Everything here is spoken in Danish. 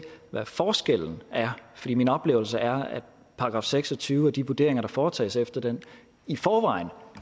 hvad forskellen er for min oplevelse er at § seks og tyve og de vurderinger der foretages efter den i forvejen